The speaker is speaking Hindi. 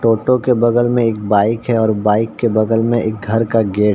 टोटो के बगल में एक बाइक है और बाइक के बगल में एक घर का गेट --